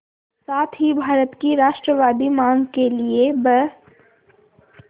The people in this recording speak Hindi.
साथ ही भारत की राष्ट्रवादी मांग के लिए ब्